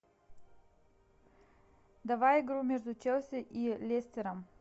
давай игру между челси и лестером